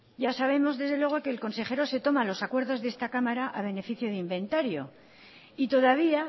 ya sabemos desde luego que el consejero se toma los acuerdos de esta cámara a beneficio de inventario y todavía